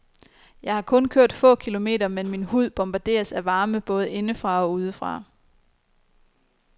Jeg har kun kørt få kilometer, men min hud bombarderes af varme både indefra og udefra.